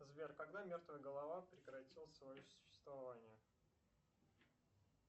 сбер когда мертвая голова прекратила свое существование